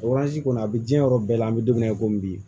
kɔni a bɛ diɲɛ yɔrɔ bɛɛ la an bɛ don min na i ko bi